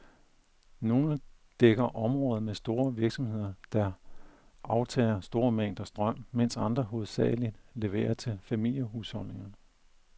Nogle dækker områder med store virksomheder, der aftager store mængder strøm, mens andre hovedsageligt leverer til familiehusholdninger.